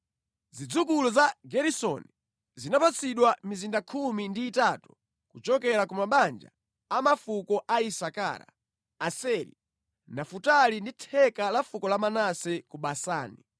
Zidzukulu za Geresoni zinapatsidwa mizinda 13 kuchokera ku mabanja a mafuko a Isakara, Aseri, Nafutali ndi theka la fuko la Manase ku Basani.